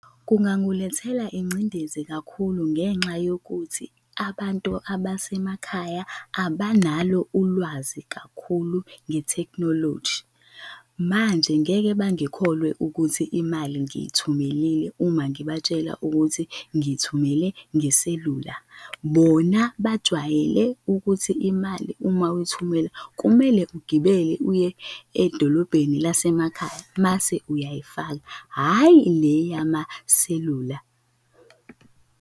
Kungangulethela ingcindezi kakhulu ngenxa yokuthi abantu abasemakhaya abanalo ulwazi kakhulu nge-technology, manje ngeke bangikholwa ukuthi imali ngiyithumelile uma ngibatshela ukuthi ngithumele ngeselula. Bona bajwayele ukuthi imali, uma uyithumela kumele ugibele uye edolobheni lasemakhaya mase uyayifaka, hhayi le yamaselula.